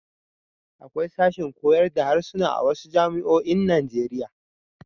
Akwai sashin koyar da harsuna a wasu jami'oin Najeriya.